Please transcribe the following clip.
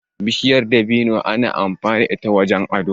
Bishiyar dabino ana amfani da ita wajen ado.